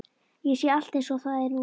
Ég sé allt einsog það er núna.